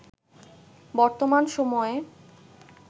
বর্তমান সময়ে